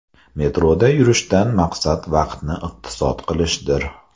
Metroda yurishdan maqsad vaqtni iqtisod qilishdir.